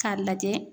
K'a lajɛ